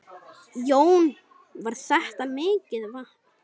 Jón: Var þetta mikið vatn?